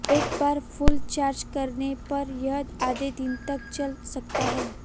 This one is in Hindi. एक बार फुल चार्ज करने पर यह आधे दिन तक चल सकता है